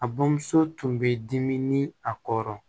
A bamuso tun bɛ dimi ni a kɔrɔ